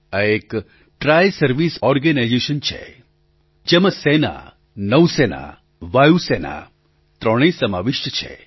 આ એક tri service organisation છે જેમાં સેના નૌ સેના વાયુ સેના ત્રણેય સમાવિષ્ટ છે